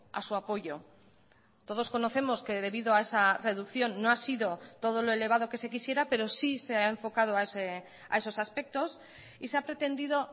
a su apoyo todos conocemos que debido a esa reducción no ha sido todo lo elevado que se quisiera pero sí se ha enfocado a esos aspectos y se ha pretendido